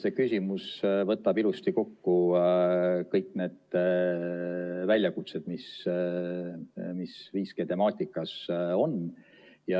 See küsimus võtab ilusti kokku kõik need väljakutsed, mis 5G temaatikas on.